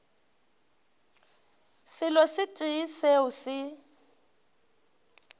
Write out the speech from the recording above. selo se tee seo se